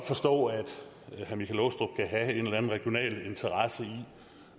forstå at herre michael aastrup jensen kan have en eller anden regional interesse i